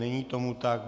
Není tomu tak.